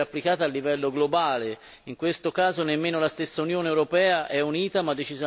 in questo caso nemmeno la stessa Unione europea è unita, ma decisamente spaccata al suo interno.